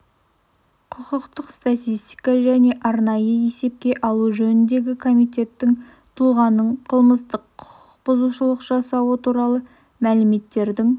құқықтық статистика және арнайы есепке алу жөніндегі комитеттің тұлғаның қылмыстық құқық бұзушылық жасауы туралы мәліметтердің